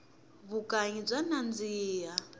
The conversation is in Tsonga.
vukanyi bya nandzika